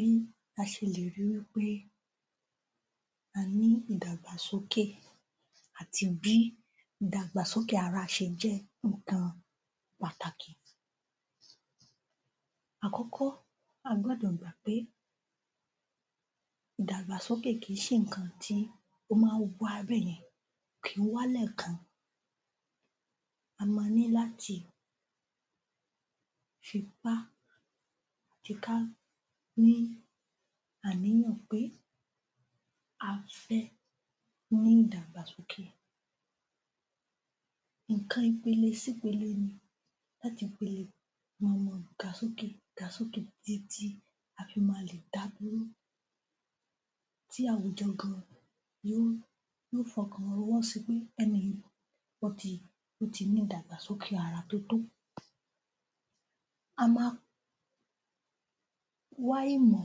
Bí a ṣe lè ri wí pé a ní ìdàgbàsókè àti bí ìdàgbàsókè ara ṣe jẹ́ nǹkan pàtàkì. Àkọ́kọ́, a gbọ́dọ̀ gbà pé ìdàgbàsókè kìí ṣe nǹkan tí ó máa ń wá bẹ́yẹn. Kì í wá lẹ́ẹ̀kan. A ma ní láti fipá tiká ní àníyàn pé a fẹ́ ní ìdàgbàsókè. Nǹkan ipele sípele ni láti ipele kan, a máa ga sókè, a máa ga sókè títí a fi ma lè dá dúró tí àwùjọ gan yóò fọkàn fọwọ́ sipé ẹni yìí ó ti ní ìdàgbàsókè ara tótó. A ma wá ìmọ̀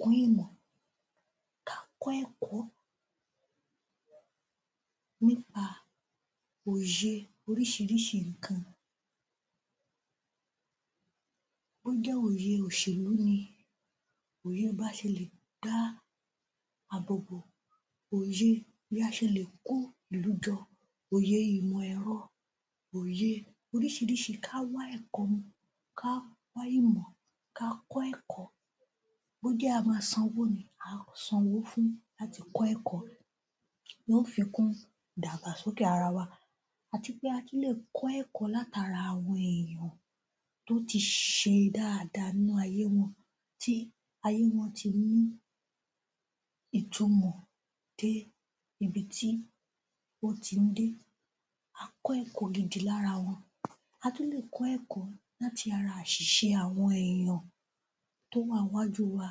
kún ìmọ̀ ká kọ́ ẹ̀kọ́ nípa òye oríṣiríṣi nǹkan. Bó jẹ́ òye òṣèlú ni òye bá ṣe lè dá àbòbò, òye bí a ṣe lè kó ìlú jọ, oyè ìmọ̀-ẹ̀rọ, òye oríṣiríṣi ká wá ẹ̀kọ́, ká wá ìmọ̀, ka kọ́ ẹ̀kọ́ bó jẹ́ a ma san owó ni, àá san owó fún láti kọ́ ẹ̀kọ́ yóò fikún ìdàgbàsókè ara wa. Àti pé a tún lè kọ́ ẹ̀kọ́ látara àwa èèyàn tó ti ṣe dáadáa nínú ayé wọn tí ayé wọn ti ní ìtumọ̀ dé ibi tí ó ti ń dé. A kọ́ ẹ̀kọ́ gidi lára wọn. A tún lè kọ́ ẹ̀kọ́ láti ara àṣìṣe àwọn èèyàn tó wà ńwájú wa.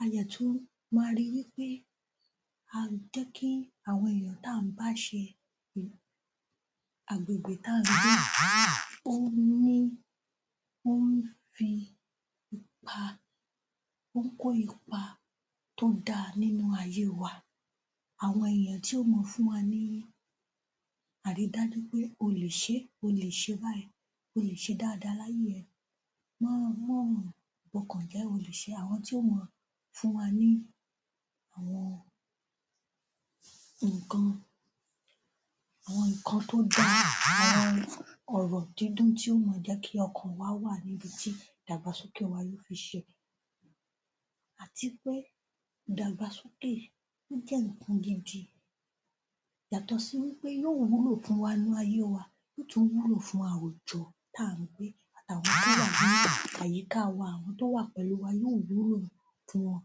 A dẹ̀ tún máa ri wí pé a jẹ́kí àwọn èèyàn tá ǹ bá ṣe, agbègbè tá ǹ gbé, ó ní, ó ń fi ipa ó ń kó ipa to dáa nínú ayé wa. Àwọn èèyàn tí ó máa fún wa ní àrídájú pé ó lè ṣé, o lè ṣe báyìí, ó lè ṣe dáadáa láyé ẹ, mọ́ mọ́ bọkàn jẹ́, o lè ṣé àwọn tí ó máa fún wa ní àwọn nǹkan àwọn nǹkan tó dáa àwọn ọ̀rọ̀ dídùn tí ó máa jẹ́kí ọkàn wa wà níbi tí ìdàgbàsókè wà yóò fi ṣe. Àti pé ìdàgbàsókè, ó jẹ́ nǹkan gidi. Yàtọ̀ sí wí pé yóò wúlò fún wa nínú ayé wa kó tó wúlò fún àwùjọ tá ǹ gbé àtàwọn tó wà ní àyíká wa àwọn tó wà pẹ̀lú wa yóò wúlò fún wọn.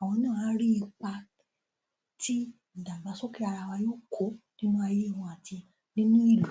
Àwọn náà á rí ipa tí ó ìdàgbàsókè ara wa yóò kó nínú ayé wọn àti nínú ìlú.